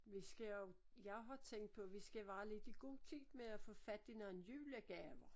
Vi skal jo jeg har tænkt på vi skal være lidt i god tid med at få fat i nogle julegaver